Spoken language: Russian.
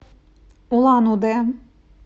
улан удэ